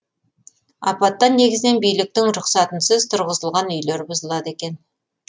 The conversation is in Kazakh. апаттан негізінен биліктің рұқсатынсыз тұрғызылған үйлер бұзылады екен